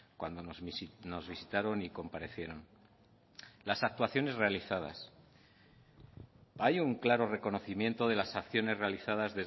cuando nos visitaron y comparecieron las actuaciones realizadas hay un claro reconocimiento de las acciones realizadas